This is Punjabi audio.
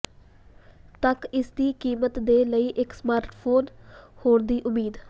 ਤੱਕ ਇਸ ਦੀ ਕੀਮਤ ਦੇ ਲਈ ਇੱਕ ਸਮਾਰਟਫੋਨ ਹੋਰ ਦੀ ਉਮੀਦ